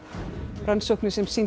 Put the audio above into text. rannsóknir sem sýndu